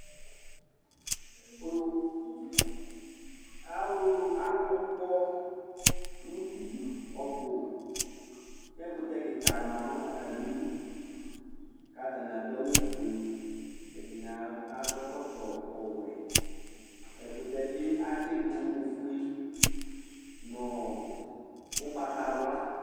Alʋ kɔ nʋ uti ɔbʋ kʋ ɛkʋtɛ kika manʋ atami idʋ kʋ atani adʋ awʋfue ɛdini akɔ ɛkɔtɔ ɔwɛ ɛkʋtɛ bi atsi du ofue nʋ ʋgbatawla